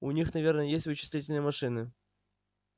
у них наверное есть вычислительные машины